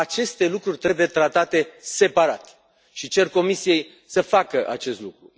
Aceste lucruri trebuie tratate separat și cer Comisiei să facă acest lucru.